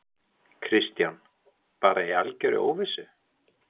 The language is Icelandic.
Kristján: Bara í algjörri óvissu?